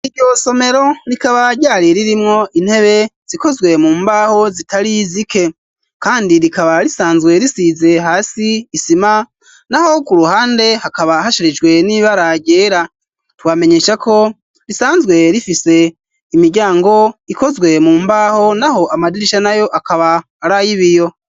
ivyo somero rikaba ryari ririmwo intebe zikozwe mu mbaho zitari zike kandi rikaba risanzwe risize hasi isima naho ku ruhande hakaba hashirijwe n'iba ra vyera tubamenyesha ko risanzwe rifise imiryango ikozwe mu mbaho naho amadirisha na yo akaba arayibiyo.